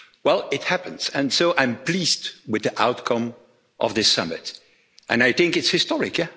Well, it is happening, and so I'm pleased with the outcome of this summit, and I think it's historic.